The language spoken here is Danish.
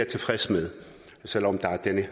tilfreds med selv om der